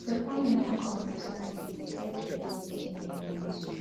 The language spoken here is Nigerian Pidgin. your family no go understand if you no give dem wetin dem want